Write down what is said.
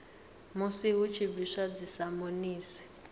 musi hu tshi bviswa dzisamonisi